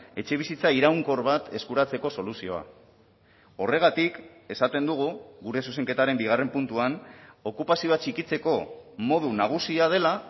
etxebizitza iraunkor bat eskuratzeko soluzioa horregatik esaten dugu gure zuzenketaren bigarren puntuan okupazioa txikitzeko modu nagusia dela